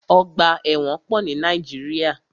Ọgbà ẹ̀wọ̀n pọ̀ ní Nàíjíríà.